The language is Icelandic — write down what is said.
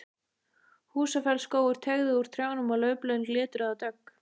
Húsafellsskógur teygði úr trjánum og laufblöðin glitruðu af dögg.